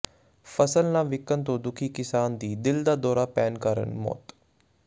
ਫ਼ਸਲ ਨਾ ਵਿਕਣ ਤੋਂ ਦੁਖੀ ਕਿਸਾਨ ਦੀ ਦਿਲ ਦਾ ਦੌਰਾ ਪੈਣ ਕਾਰਨ ਮੌਤ